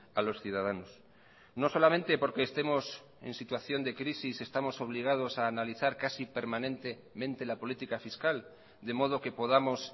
a los ciudadanos no solamente porque estemos en situación de crisis estamos obligados a analizar casi permanentemente la política fiscal de modo que podamos